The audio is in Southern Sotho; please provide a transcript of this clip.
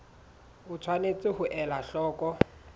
o tshwanetse ho ela hloko